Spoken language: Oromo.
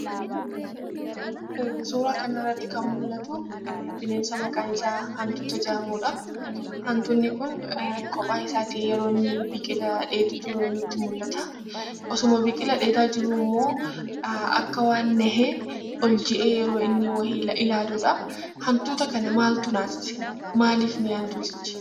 Suuraa kanarratti kan mul'atuu, bineensa maqaansaa hantuuta jedhamudha. Hantuutni kun kophaa isaati yeroo inni biqilaa dheedu nutti mul'ataa. Osuma biqila dheedaa jiruu ammoo, akka waan nahee ol jedhee yeroo inni wayi ilaaludhaa. Hantuuta kana maaltu naasise maaliif nahe hantuutichi?